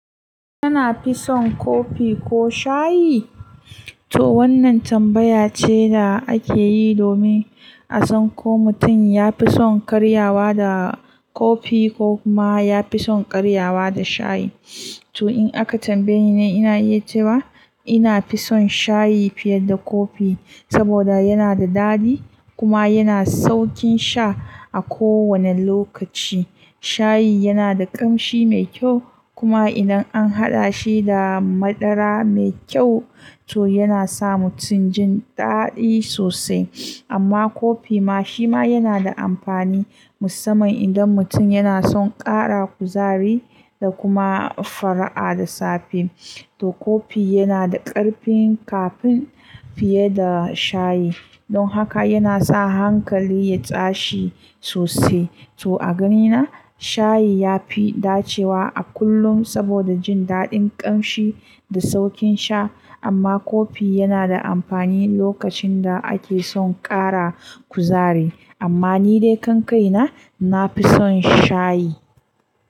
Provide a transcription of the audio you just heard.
Kina fison kofi ko shayi? To wannan tambaya ce da ake yi domin a san ko mutum ya fi son karyawa da kofi ko kuma ya fi son karyawa da shayi. To in aka tambaye ni, ina iya cewa ina fison shayi fiye da kofi, saboda yana da dadi kuma yana saukin sha a kowane lokaci. Shayi yana da ƙamshi mai kyau kuma idan an haɗa shi da madara mai kyau, to yana sa mutum jin daɗi sosai. Amma kofi ma shi ma yana da amfani musamman idan mutum yana son ƙara kuzari da kuma fara'a da safe. To kofi yana da ƙarfin kafin fiye da shayi. Don haka yana sa hankali ya tsashi sosai. To a ganina shayi ya fi dacewa a kullum saboda jin daɗin ƙamshi da saukin sha. Amma kofi yana da amfani lokacin da ake son ƙara kuzari. Amma ni dai kan kai na, na fison shayi.